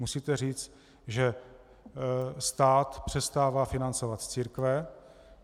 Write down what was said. Musíte říct, že stát přestává financovat církve.